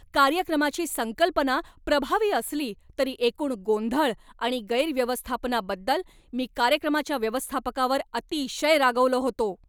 कार्यक्रमाची संकल्पना प्रभावी असली तरी एकूण गोंधळ आणि गैरव्यवस्थापनाबद्दल मी कार्यक्रमाच्या व्यवस्थापकावर अतिशय रागावलो होतो.